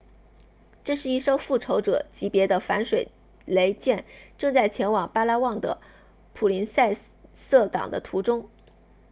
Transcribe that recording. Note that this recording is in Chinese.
这是一艘复仇者级别的反水雷舰正在前往巴拉望的普林塞萨港的途中